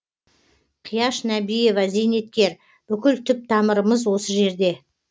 қияш нәбиева зейнеткер бүкіл түп тамырымыз осы жерде